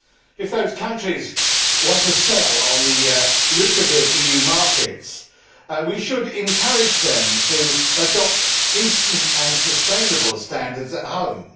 If those countries want to sell on the lucrative EU markets, we should encourage them to adopt decent and sustainable standards at home.